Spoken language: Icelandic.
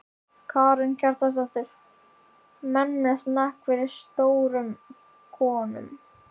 Karen Kjartansdóttir: Menn með smekk fyrir stórum konum?